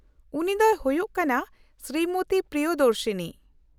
-ᱩᱱᱤ ᱫᱚᱭ ᱦᱩᱭᱩᱜ ᱠᱟᱱᱟ ᱥᱨᱤᱢᱚᱛᱤ ᱯᱨᱤᱭᱚᱫᱚᱨᱥᱤᱱᱤ ᱾